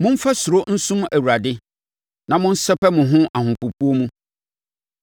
Momfa suro nsom Awurade na monsɛpɛ mo ho ahopopoɔ mu.